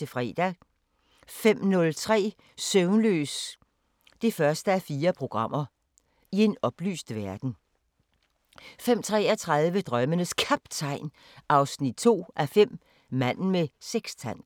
05:03: Søvnløs 1:4 – I en oplyst verden 05:33: Drømmenes Kaptajn 2:5 – Manden med sekstanten